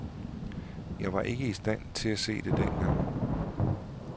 Jeg var ikke i stand til at se det dengang.